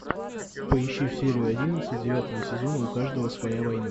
поищи серию одиннадцать девятого сезона у каждого своя война